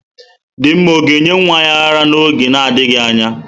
Dinma ọ ga-enye nwa ya ara n'oge na-adịghị anya?